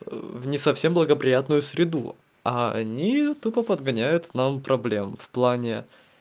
а в не совсем благоприятную среду а они тупо подгоняют нам проблем в плане